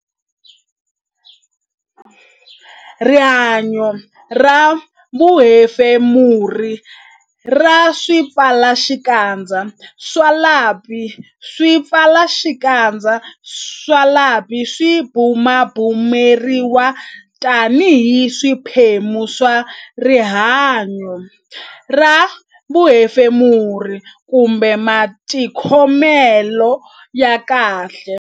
Rihanyo ra vuhefemuri ra swipfalaxikandza swa lapi Swipfalaxikandza swa lapi swi bumabumeriwa tanihi xiphemu xa rihan-yo ra vuhefemuri kumbe matikhomelo ya kahle